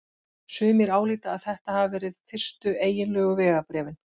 Sumir álíta að þetta hafi verið fyrstu eiginlegu vegabréfin.